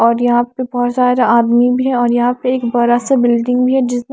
और यहाँ पे बहुत सारा आदमी भी है और यहाँ पे एक बरा सा बिल्डिंग भी है जिसमें --